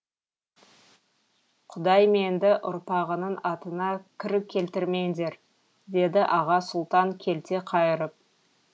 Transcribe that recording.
құдайм енді ұрпағының атына кір келтірмеңдер деді аға сұлтан келте қайырып